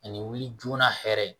Ani wuli joona hɛrɛ ye